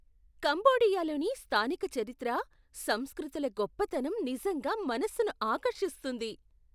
కంబోడియాలోని స్థానిక చరిత్ర, సంస్కృతుల గొప్పతనం నిజంగా మనసును ఆకర్షిస్తుంది.